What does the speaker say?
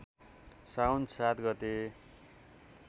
साउन ७ गते